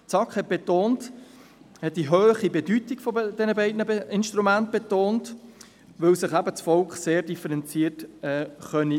Die SAK betonte die hohe Bedeutung dieser beiden Instrumente, weil sich das Volk eben sehr differenziert äussern könne.